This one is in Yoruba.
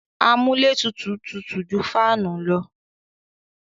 Amúlétutù tutù ju fáànù lọ.